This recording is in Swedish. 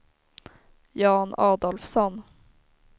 Jan Adolfsson